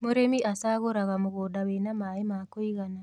mũrĩmi acaguraga mũgũnda wina maĩ ma kũigana